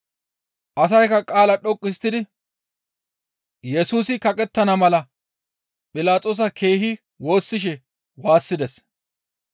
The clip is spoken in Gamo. Asaykka qaalaa dhoqqu histtidi Yesusi kaqettana mala Philaxoosa keehi woossishe waassides.